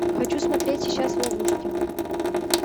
хочу смотреть сейчас в ловушке